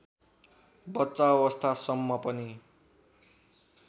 बच्चा अवस्थासम्म पनि